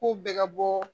K'u bɛ ka bɔ